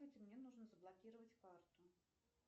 мне нужно заблокировать карту